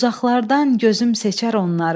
Uzaqlardan gözüm seçər onları.